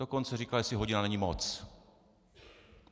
Dokonce říkal, jestli hodina není moc.